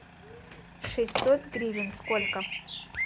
шестьсот гривен сколько